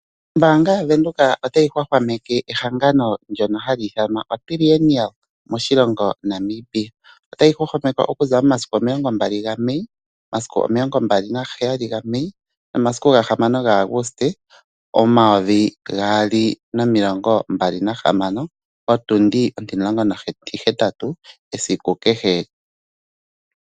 Ombaanga yaVenduka otayi hwahwameke ehangano ndono hali ithanwa oTrienial moshiongo Namibia otali hwahwameke okuza momasiku omilongo mbali gaMai sigo 27 ga Mai nomasiku gahamano ga August 2026 potundi ontimulongo nontihetatatu esiku kehe.